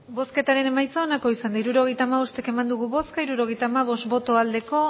hirurogeita hamabost eman dugu bozka hirurogeita hamabost bai